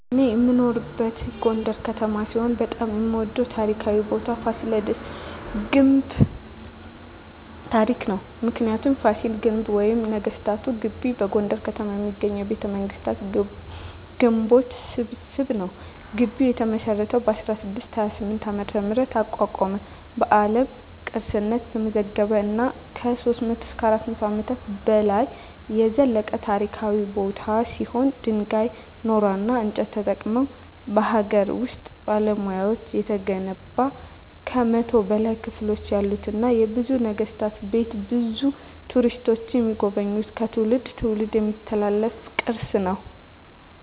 እኔ የምኖርበት ጎንደር ከተማ ሲሆን በጣም የምወደው ታሪካዊ ቦታ የፋሲለደስ ግንብ ታሪክ ነው። ምክንያቱ : ፋሲል ግንብ ወይም ነገስታት ግቢ በጎንደር ከተማ የሚገኝ የቤተመንግስታት ግንቦች ስብስብ ነው። ግቢው የተመሰረተው በ1628 ዓ.ም አቋቋመ በአለም ቅርስነት የተመዘገበ እና ከ300-400 አመታት በላይ የዘለቀ ታሪካዊ ቦታ ሲሆን ድንጋይ ,ኖራና እንጨት ተጠቅመው በሀገር ውስጥ ባለሙያዎች የተገነባ ከ100 በላይ ክፍሎች ያሉትና የብዙ ነገስታት ቤት ብዙ ቱሪስቶች የሚጎበኙት ከትውልድ ትውልድ የሚተላለፍ ቅርስ ነው።